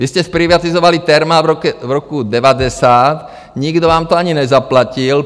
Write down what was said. Vy jste zprivatizovali Thermal v roku 1990, nikdo vám to ani nezaplatil.